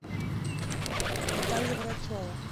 наталья грачева